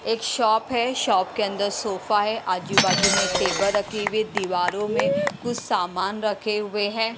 एक शॉप है शॉप के अंदर सोफा है आजू-बाजू में टेबल रखी हुए दीवारों में कुछ सामान रखे हुए हैं।